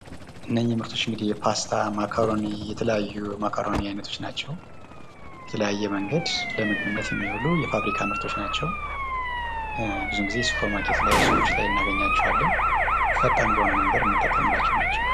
እነዚህ ምርቶች የፓስታ ማኮረኒ የተለያዩ የማኮረኒ አይነቶች ናቸው። በተለያየ መንገድ ለምግብነት የሚውሉ የፋብሪካ ምግቦች ናቸው። ብዙ ጊዜ ሱፐር ማርኬቶች ላይ ሱቆች ላይ እናገኛቸዋለን። ፈጣን በሆነ መንገድ የምንጠቀምባቸው ናቸው።